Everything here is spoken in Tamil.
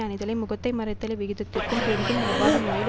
அணிதலை முகத்தை மறைத்தலை விகிதத்திற்கு பெரிதும் ஒவ்வாத முறையில்